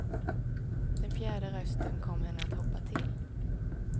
Den fjärde rösten kom henne att hoppa till.